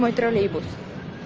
мой троллейбус